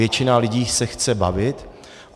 Většina lidí se chce bavit.